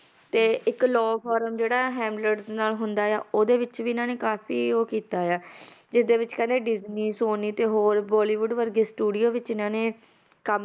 ਤੇ ਇੱਕ law form ਜਿਹੜਾ ਹੈਮਲਟਸ ਨਾਲ ਹੁੰਦਾ ਆ ਉਹਦੇ ਵਿੱਚ ਵੀ ਇਹਨਾਂ ਨੇ ਕਾਫ਼ੀ ਉਹ ਕੀਤਾ ਆ ਜਿਸਦੇ ਵਿੱਚ ਕਹਿੰਦੇ ਡਿਜਨੀ ਸੋਨੀ ਤੇ ਹੋਰ ਬੋਲੀਵੁਡ ਵਰਗੇ studio ਵਿੱਚ ਇਹਨਾਂ ਨੇ ਕੰਮ